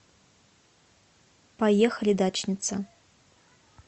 поехали дачница